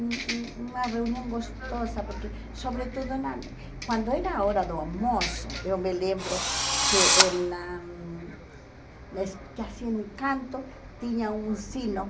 um um uma reunião gostosa, porque, sobretudo na, quando era a hora do almoço, eu me lembro que, em na nas que assim, no canto, tinha um sino.